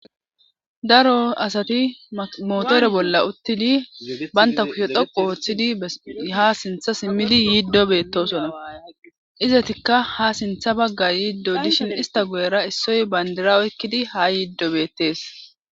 daro asati motore bolla uttidi banta kushe dhoqu ooththidi ha sintha simmili yiiddo beettosona izetikka ha sintha bagga yiiddo dishin ista goyera issoy bandira eekkidi haa yiiddo beettees